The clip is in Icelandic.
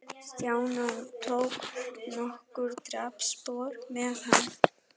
Stjána og tók nokkur dansspor með hann.